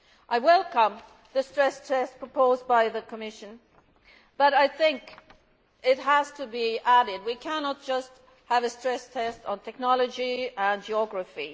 I welcome the stress test proposed by the Commission, but I think it has to be added that we cannot just have a stress test based on technology and geography.